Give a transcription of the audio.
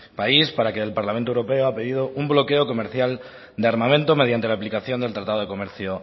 país para el que el parlamento europeo ha perdido un bloqueo comercial de armamento mediante la aplicación del tratado de comercio